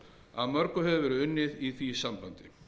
að mörgu hefur verið unnið í því sambandi